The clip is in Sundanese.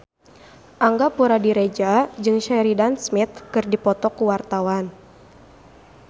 Angga Puradiredja jeung Sheridan Smith keur dipoto ku wartawan